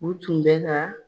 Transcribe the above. U tun bɛ ka